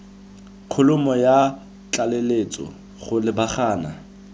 kholomo ya tlaleletso go lebagana